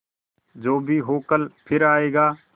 जो भी हो कल फिर आएगा